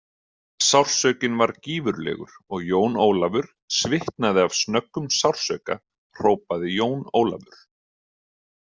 Sársaukinn var gífurlegur og Jón Ólafur svitnaði af snöggum sársauka hrópaði Jón Ólafur.